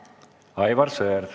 Aivar Sõerd.